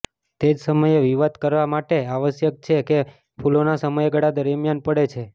તે જ સમયે વિવાદ કરા માટે આવશ્યક છે કે ફૂલોના સમયગાળા દરમિયાન પડે છે